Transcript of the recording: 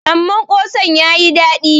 amma kosan ya yi dadi